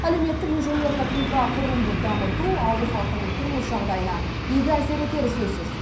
әлеуметтік инженерлік инфрақұрылымды дамыту ауыл халқының тұрмыс жағдайына игі әсер етері сөзсіз